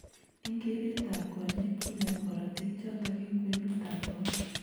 Eng kereret ab konyeek ,kinemu korotik chotok eng kwenut ab konda.